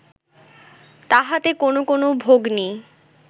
তাহাতে কোন কোন ভগ্নী